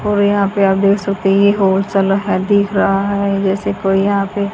और यहां पे आप देख सकते हैं। ये दिख रहा है जैसे कोई यहाँ पे--